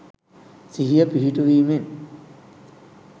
සිහිය පිහිටුවීමෙන්.